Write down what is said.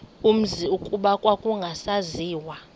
umzi kuba kwakungasaziwa